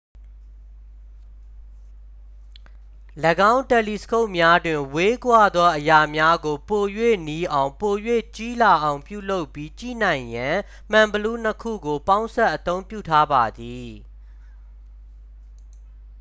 ၎င်းတယ်လီစကုပ်များတွင် ဝေးကွာသောအရာများကို ပို၍နီးအောင် ပို၍ကြီးလာအောင်ပြုလုပ်ပြီး ကြည့်နိုင်ရန် မှန်ဘီလူး နှစ် ခုကို ပေါင်းစပ်အသုံးပြုထားပါသည်